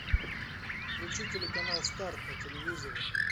включи телеканал старт на телевизоре